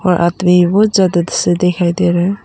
ज्यादा से दिखाई दे रहे हैं।